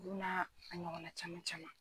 Ulu n'a a ɲɔgɔnna caman caman.